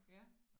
Ja